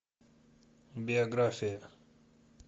биография